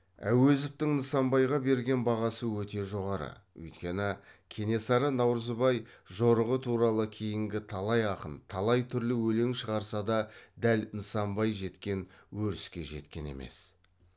әуезовтің нысанбайға берген бағасы өте жоғары өйткені кенесары наурызбай жорығы туралы кейінгі талай ақын талай түрлі өлең шығарса да дәл нысанбай жеткен өріске жеткен емес